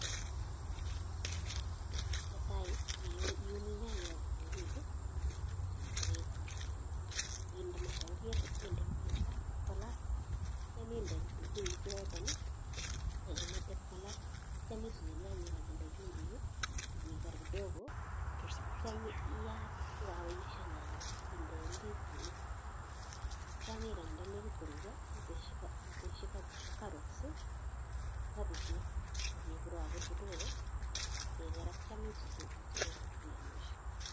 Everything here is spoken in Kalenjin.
Netai iuni nyanyek ak kitunguik ii ak iton, inde ma saburiet ii inde mwaita ipkolal, atyam inde kitunguik cheketon ii ak imete pkolal atyam isuse nyanyek ak inde chumbik ii ak iker kidogo atyam iyaat ko kakoyeiso nyanyek, inde ndisinik, atyam ikany nda nekit koruryo, itesyi carrots ii ak kabichek akikurakur kidogo ak iker atyam isutu isuruku iamishe.